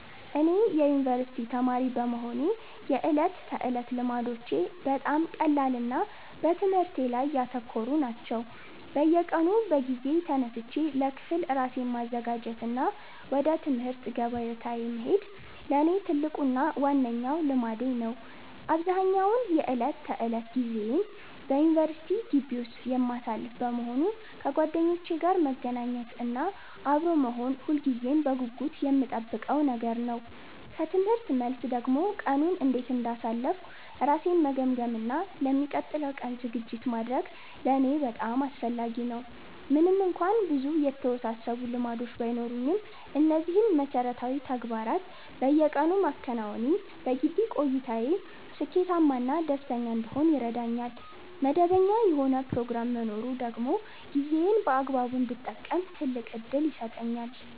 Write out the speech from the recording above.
እኔ የዩኒቨርሲቲ ተማሪ በመሆኔ የዕለት ተዕለት ልማዶቼ በጣም ቀላልና በትምህርቴ ላይ ያተኮሩ ናቸው። በየቀኑ በጊዜ ተነስቼ ለክፍል ራሴን ማዘጋጀት እና ወደ ትምህርት ገበታዬ መሄድ ለእኔ ትልቁና ዋነኛው ልማዴ ነው። አብዛኛውን የዕለት ተዕለት ጊዜዬን በዩኒቨርሲቲ ግቢ ውስጥ የማሳልፍ በመሆኑ፣ ከጓደኞቼ ጋር መገናኘት እና አብሮ መሆን ሁልጊዜም በጉጉት የምጠብቀው ነገር ነው። ከትምህርት መልስ ደግሞ ቀኑን እንዴት እንዳሳለፍኩ ራሴን መገምገም እና ለሚቀጥለው ቀን ዝግጅት ማድረግ ለእኔ በጣም አስፈላጊ ነው። ምንም እንኳን ብዙ የተወሳሰቡ ልማዶች ባይኖሩኝም፣ እነዚህን መሠረታዊ ተግባራት በየቀኑ ማከናወኔ በግቢ ቆይታዬ ስኬታማ እና ደስተኛ እንድሆን ይረዳኛል። መደበኛ የሆነ ፕሮግራም መኖሩ ደግሞ ጊዜዬን በአግባቡ እንድጠቀም ትልቅ ዕድል ይሰጠኛል።